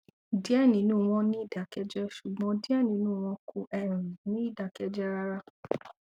diẹ ninu wọn n ni idakẹjẹ ṣugbọn diẹ ninu wọn kò um ni idakẹjẹ rara